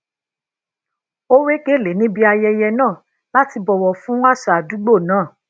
ó we gele ní ibi ayẹyẹ náà láti bọwọ fún àṣà àdúgbò náà